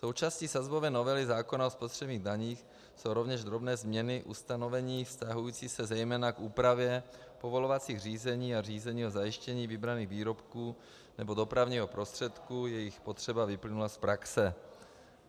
Součástí sazbové novely zákona o spotřebních daních jsou rovněž drobné změny ustanovení vztahující se zejména k úpravě povolovacích řízení a řízení o zajištění vybraných výrobků nebo dopravního prostředku, jejichž potřeba vyplynula z praxe.